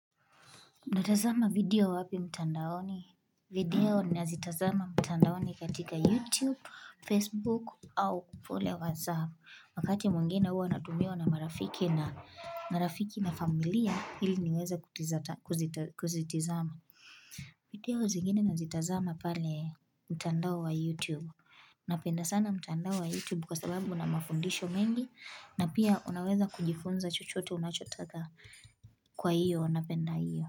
Natazama video wapi mtandaoni? Video ninazitazama mtandaoni katika YouTube, Facebook, au kule WhatsApp. Wakati mwengine hua natumiwa na marafiki na familia, ili niweza kuzitizama. Video zingine nazitazama pale mtandao wa YouTube. Napenda sana mtandao wa YouTube kwa sababu una mafundisho mengi, na pia unaweza kujifunza chochote unachotaka kwa hiyo napenda hiyo.